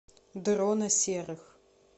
дрона серых